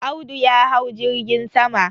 Audu ya hau jirgin sama.